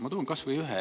Ma toon ühe näite.